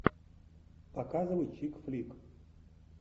показывай чик флик